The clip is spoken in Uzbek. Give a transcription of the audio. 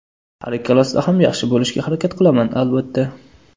Har ikkalasida ham yaxshi bo‘lishga harakat qilaman, albatta.